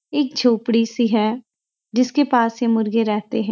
एक झोपड़ी सी है जिसके पास ही मुर्गे रहते हैं।